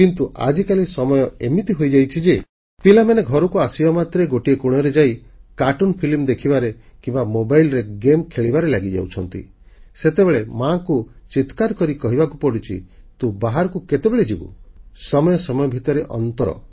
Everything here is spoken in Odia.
କିନ୍ତୁ ଆଜିକାଲି ସମୟ ଏମିତି ହୋଇଯାଇଛି ଯେ ପିଲାମାନେ ଘରକୁ ଆସିବା ମାତ୍ରେ ଗୋଟିଏ କୋଣରେ ଯାଇ କାର୍ଟୁନ ଫିଲ୍ମ ଦେଖିବାରେ କିମ୍ବା ମୋବାଇଲରେ ଗେମ୍ ଖେଳିବାରେ ଲାଗିଯାଉଛନ୍ତି ସେତେବେଳେ ମାକୁ ଚିତ୍କାର କରି କହିବାକୁ ପଡ଼ୁଛି ତୁ ବାହାରକୁ କେତେବେଳେ ଯିବୁ ସମୟ ସମୟ ଭିତରେ ଅନ୍ତର